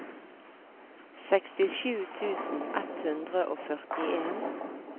sekstisju tusen ett hundre og førtien